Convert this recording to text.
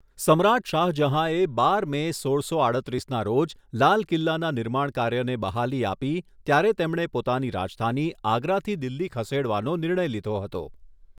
સમ્રાટ શાહજહાંએ બાર મે, સોળસો આડત્રિસના રોજ લાલ કિલ્લાના નિર્માણ કાર્યને બહાલી આપી ત્યારે તેમણે પોતાની રાજધાની આગ્રાથી દિલ્હી ખસેડવાનો નિર્ણય લીધો હતો.